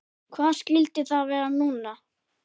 Hvað skyldi það vera núna?